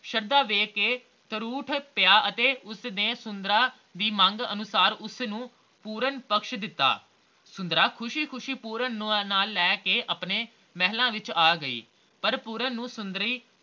ਸ਼ਰਧਾ ਵੇਖ ਕੇ ਉੱਠ ਪਿਆ ਅਤੇ ਉਸਨੇ ਸੁੰਦਰਾਂ ਦੀ ਮੰਗ ਅਨੁਸਾਰ ਉਸਨੂੰ ਪੂਰਨ ਪਕਸ਼ ਦਿੱਤਾ ਸੁੰਦਰਾਂ ਖੁਸ਼ੀ -ਖੁਸ਼ੀ ਪੂਰਨ ਨੂੰ ਨਾਲ ਲੈ ਕੇ ਆਪਣੇ ਮਹਿਲਾ ਵਿਚ ਆ ਗਈ ਪਰ ਪੂਰਨ ਨੂੰ ਸੁੰਦਰੀ